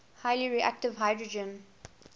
highly reactive hydrogen